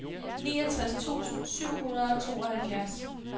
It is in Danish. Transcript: niogtres tusind syv hundrede og tooghalvfjerds